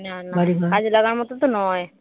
না না কাজে লাগার মতো তো নয়